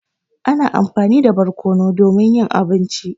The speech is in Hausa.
Ana amfani da barƙonu domin yin abinci.